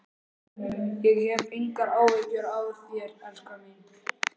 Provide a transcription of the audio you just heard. Ég hef engar áhyggjur af þér, elskan mín.